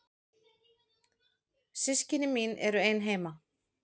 Systkini mín eru ein heima.